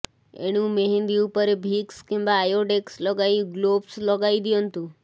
ଏଣୁ ମେହେନ୍ଦି ଉପରେ ଭିକ୍ସ କିମ୍ବା ଆୟୋଡେକ୍ସ ଲଗାଇ ଗ୍ଲୋବ୍ସ ଲଗାଇ ଦିଅନ୍ତୁ